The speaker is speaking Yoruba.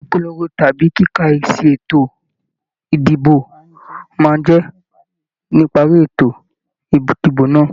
Ìpolongo tàbí kíkà esi ètò ìdìbò máa ń jẹ níparí ètò ìdìbò náà.